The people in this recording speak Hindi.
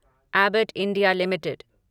Abbott India limited